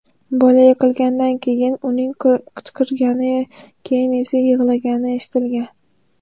Bola yiqilganidan keyin uning qichqirgani, keyin esa yig‘lagani eshitilgan.